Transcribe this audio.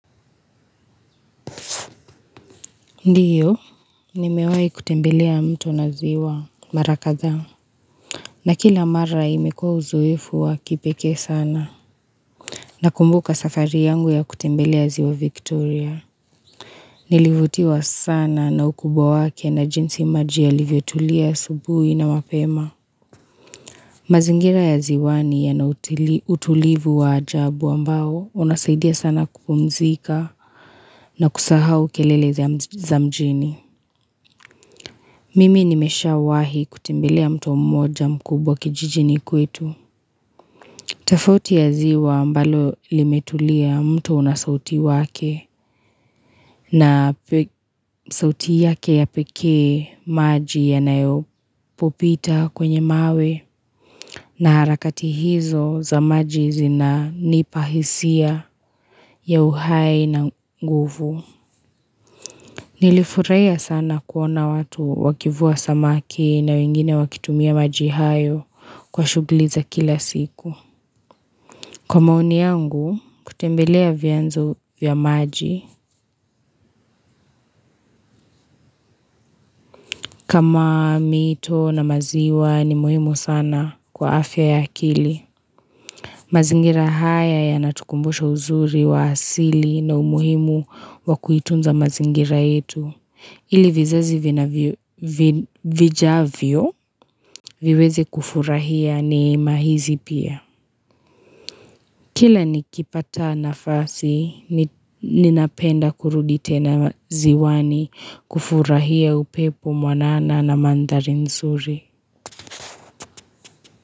Ndiyo, ni mewai kutembelea mtu na ziwa Mara kadhaa. Na kila mara imekua uzoefu wa kipekee sana. Nakumbuka safari yangu ya kutembelea ziwa Victoria. Nilivutiwa sana na ukubwa wake na jinsi maji yalivyotulia asubuhi na mapema. Mazingira ya ziwani yana utulivu wa ajabu ambao unasaidia sana kupumzika na kusahau kelele za mjini. Mimi nimeshaawahi kutembelea mtu mmoja mkubwa kijijini kwetu. Tofauti ya ziwa ambalo limetulia mtu unasauti wake na sauti yake ya pekee maji yanapopita kwenye mawe na harakati hizo za maji zinanipa hisia ya uhai na nguvu. Nilifurahia sana kuona watu wakivua samaki na wengine wakitumia maji hayo kwa shugli za kila siku. Kwa maoni yangu, kutembelea vyanzo vya maji. Kama mito na maziwa ni muhimu sana kwa afya ya kili. Mazingira haya yanatukumbusha uzuri wa asili na umuhimu wakuitunza mazingira yetu. Ili vizazi vijavyo viwezi kufurahia ni mahizi pia. Kila nikipata nafasi, ninapenda kurudi tena ziwani kufurahia upepo mwanana na mandhari nzuri.